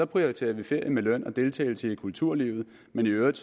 prioriterer ferie med løn og deltagelse i kulturlivet men i øvrigt